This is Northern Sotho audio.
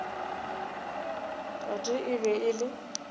tate e be e le